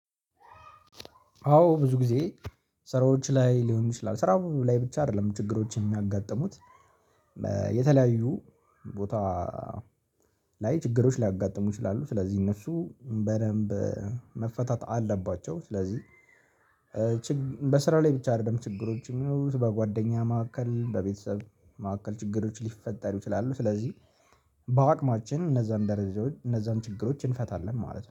አዎ ብዙ ጊዜ ስራዎች ላይ ሊሆኑ ይችላል ስራው ላይ ብቻ አይደለም ችግሮች የሚያጋጥሙት። የተለያዩ ቦታ ላይ ችግሮች ሊያጋጥሙ ይችላሉ ስለዚህ እነሱ በደንብ መፈታት አለባቸው ስለዚህ ችግ በስራ ላይ ብቻ አይደለም ችግሮች የሚኖሩት በጓደኛ መካከል በቤተሰብ መካከል ችግሮች ሊፈጠሩ ይችላሉ፣ ስለዚህ በአቅማችን እነዛን ደረጃዎች እነዛን ችግሮች እንፈታለን ማለት ነው።